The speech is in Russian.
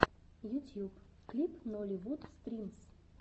ютьюб клип нолливуд стримс